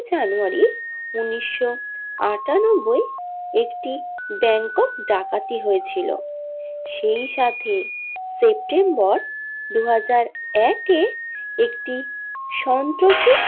জানুয়ারী উনিশশো আটানব্বই একটি ব্যাঙ্কের ডাকাতি হয়েছিল সেই সাথে সেপ্টেম্বর দুহাজার একে একটি সন্ত্রাসী।